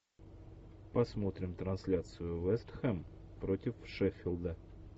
посмотрим трансляцию вест хэм против шеффилда